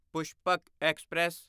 Pushpak express